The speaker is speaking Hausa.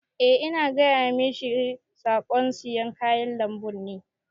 Eh ina gaya mashi saƙon sayan kayan lambun ne.